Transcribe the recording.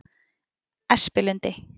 Espilundi